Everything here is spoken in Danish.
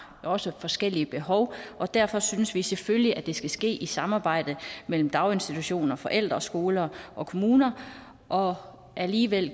også forskellige behov og derfor synes vi selvfølgelig at det skal ske i samarbejde mellem daginstitutioner forældre skoler og kommuner og alligevel